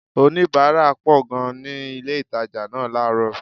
Oníbàárà pọ̀ gan-an ni ilé-ìtàjà náà láàrọ̀